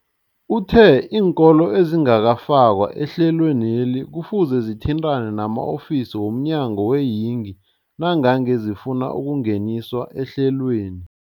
Uthe iinkolo ezingakafakwa ehlelweneli kufuze zithintane nama-ofisi wo mnyango weeyingi nangange zifuna ukungeniswa ehlelweni.